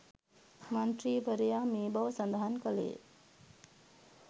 මන්ත්‍රීවරයා මේ බව සඳහන් කළේය